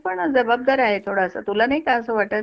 पण जबाबदार आहे थोडासा तुला नाही का असं वाटतं.